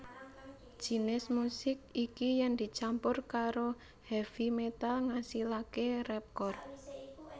Jinis musik iki yèn dicampur karo heavy metal ngasilaké rapcore